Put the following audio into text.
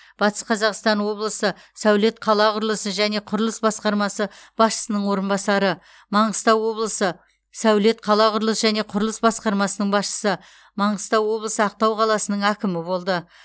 батыс қазақстан облысы сәулет қала құрылысы және құрылыс басқармасы басшысының орынбасары маңғыстау облысы сәулет қала құрылысы және құрылыс басқармасының басшысы маңғыстау облысы ақтау қаласының әкімі болды